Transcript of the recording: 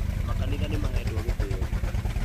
makanitha nĩmahetwo gĩtĩĩo